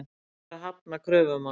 Verður að hafna kröfum hans.